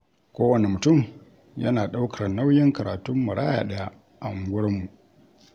Kowane mutum yana ɗaukar nauyin karatun maraya ɗaya a unguwarmu.